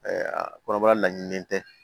kɔrɔbɔrɔ laɲininen tɛ